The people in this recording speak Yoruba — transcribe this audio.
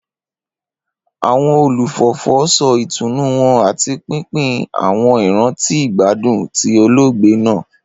Awọn olufọfọ sọ itunu wọn ati pinpin awọn iranti igbadun ti oloogbe naa.